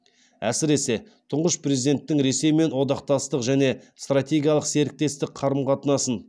әсіресе тұңғыш президенттің ресеймен одақтастық және стратегиялық серіктестік қарым қатынасың